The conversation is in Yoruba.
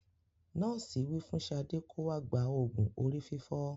Nọ́ọ̀sì wí fún Sade kó wá gba òògùn orí fífọ